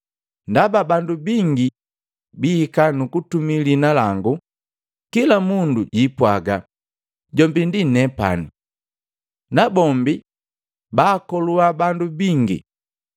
Ndaba bandu bingi bihika nukutumii liina lango, kila mundu jwiipwaga, ‘Jombi ndi nepani!’ Nabombi baakolua bandu bingi.